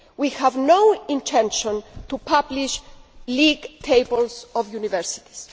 We have no intention of publishing league tables of universities.